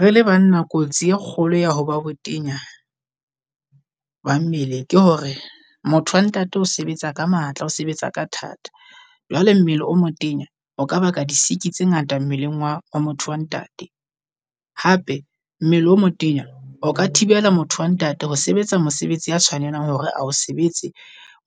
Re le banna kotsi e kgolo ya ho ba botenya ba mmele ke hore motho wa ntate o sebetsa ka matla, o sebetsa ka thata. Jwale mmele o motenya o kaba ka di siki tse ngata mmeleng wa motho wa ntate. Hape mmele o motenya o ka thibela motho wa ntate ho sebetsa mosebetsi ya tshwanelang hore a o sebetse